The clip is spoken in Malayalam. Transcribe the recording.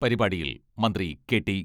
പരിപാടിയിൽ മന്ത്രി കെ.ടി.